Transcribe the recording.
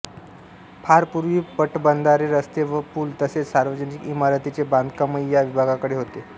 फार पूर्वी पाटबंधारे रस्ते व पुल तसेच सार्वजनिक ईमारतींचे बांधकामही या विभागाकडे होते